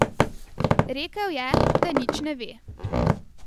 Rekel je, da nič ne ve.